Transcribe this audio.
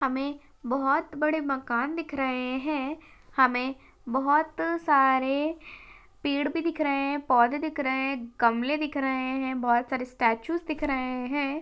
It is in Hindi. हमे बहुत बड़े मकान दिख रहे है हमे बहुत सारे पेड़ भी दिख रहे है पौधे दिख रहे है गमले दिख रहे है बहुत सारे स्टैटूज़ दिख रहे है।